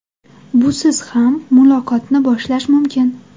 Busiz qanday muloqotni boshlash mumkin?